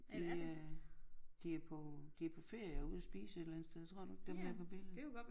Ja de er på de på ferie og ude at spise et eller andet sted tror du ikke dem her på billedet